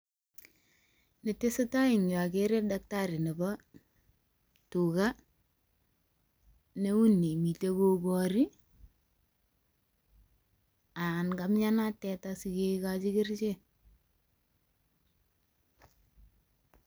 Netesetai eng yu agere dakitari nebo tuga neuni mite kogori anan kamnyanat teta sikekochi kerichek.